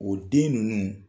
O den ninnu